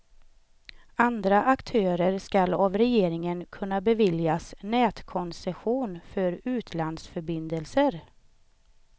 Andra aktörer skall av regeringen kunna beviljas nätkoncession för utlandsförbindelser.